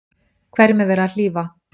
Hverjum er verið að hlífa?